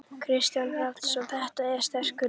Kristinn Hrafnsson: Þetta er sterkur listi?